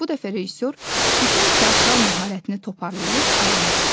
Bu dəfə rejissor bütün teatral məharətini toparlayıb ayağa qalxdı.